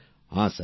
প্রেম জী হ্যাঁ